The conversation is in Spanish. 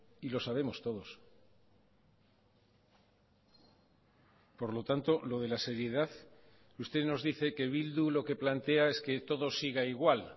y lo sabemos todos por lo tanto lo de la seriedad usted nos dice que bildu lo que plantea es que todo siga igual